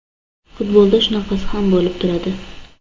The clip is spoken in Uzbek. Futbolda shunaqasi ham bo‘lib turadi”.